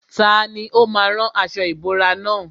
Tani ó má a rán aṣọ ìbora nà?